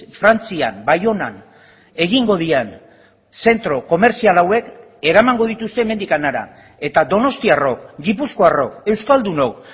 frantzian baionan egingo diren zentro komertzial hauek eramango dituzte hemendik hara eta donostiarrok gipuzkoarrok euskaldunok